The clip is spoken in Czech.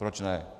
Proč ne.